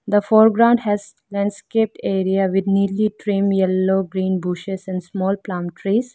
the foreground has landscaped area with neatly trim yellow green bushes and small plant trees.